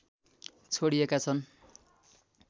छोडिएका छन्